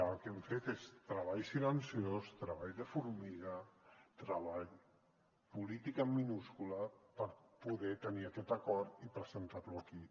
el que hem fet és treball silenciós treball de formiga treball polític en minúscula per poder tenir aquest acord i presentar lo aquí